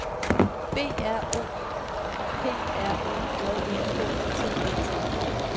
B R O P R O J E K T E T